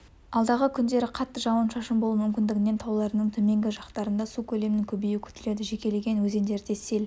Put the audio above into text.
алдағы күндері қатты жауын-шашын болуы мүмкіндігінен тауларының төменгі жақтарында су көлемінің көбеюі күтіледі жекелеген өзендерде сел